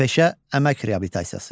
Peşə-əmək reabilitasiyası.